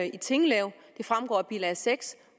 i tinglev det fremgår af bilag seks